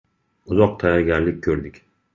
Uzoq tayyorgarlik ko‘rdik.